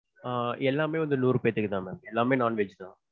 ஆஹ் எல்லாமே வந்து நூறு பேத்துக்குதா ma'am. எல்லாமே non-veg.